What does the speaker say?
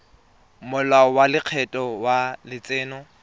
molao wa lekgetho wa letseno